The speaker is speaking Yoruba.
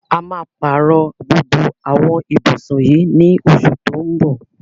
A máa pàárọ̀ gbogbo àwọn ibùsùn yìí ní oṣù tó ń bọ̀.